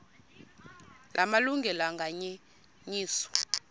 la malungelo anganyenyiswa